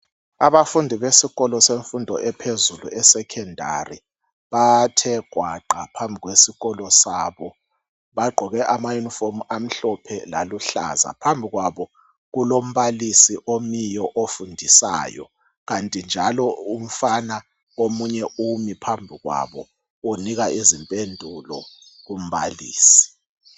Abafundi abasekolo semfundo ephezulu esecondary bathe gwaqa phambi kwesikolo sabo, bagqoke ama unifomu amhlophe lalu hlaza, phambi kwabo kulombalisi omiyo ofundisayo kanti njalo kulomfana omiyo phambi kwabo unika izimphendula kumbalisi.